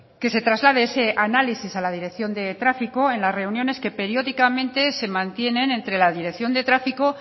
que se traslade ese análisis a la dirección de tráfico en las reuniones que periódicamente se mantienen entre la dirección de tráfico